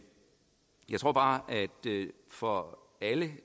jeg tror bare at det for alle